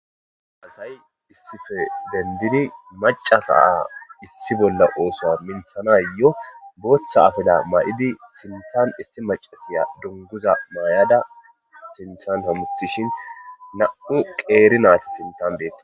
asay issife dendiri macasa a issi bolla oosoa minthanayo booththa afila maay7idi sintan issi macasiya dunguza maayada sinthan hamuttishin na7u qeeri naati sintan deeta